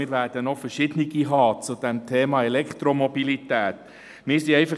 Wir werden noch verschiedene Vorstösse zum Thema Elektromobilität haben, die wir alle unterstützen werden.